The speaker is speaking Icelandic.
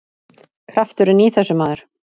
Krafturinn í þessu, maður!